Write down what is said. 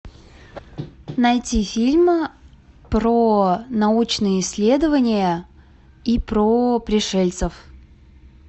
найти фильм про научные исследования и про пришельцев